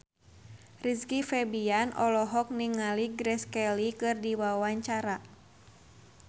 Rizky Febian olohok ningali Grace Kelly keur diwawancara